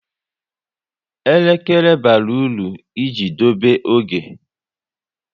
Elekere bara uru i ji dobe oge